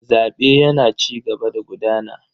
Zaɓe yana cigaba da gudana.